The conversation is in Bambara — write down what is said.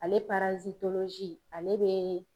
Ale ale bɛ